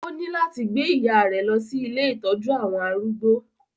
Ó ní láti gbẹ ìyá rẹ̀ lọ sí ilé ìtọ́jú àwọn arúgbó